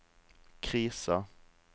krisa